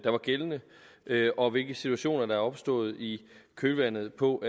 er gældende og hvilke situationer der er opstået i kølvandet på